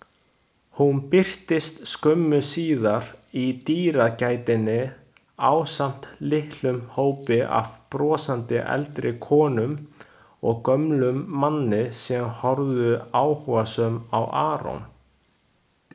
Hún birtist skömmu síðar í dyragættinni ásamt litlum hópi af brosandi eldri konum og gömlum manni sem horfðu áhugasöm á Aron.